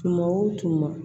Tuma o tuma